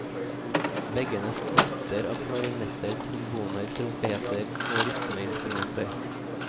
Veggene strutter av klarinetter, tromboner, trompeter og rytmeinstrumenter.